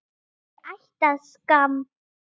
Ég ætti að skamm